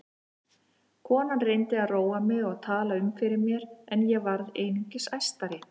Konan reyndi að róa mig og tala um fyrir mér en ég varð einungis æstari.